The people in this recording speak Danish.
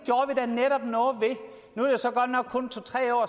nu er det så godt nok kun to tre år